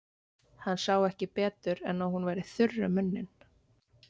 Hann sá ekki betur en að hún væri þurr um munninn.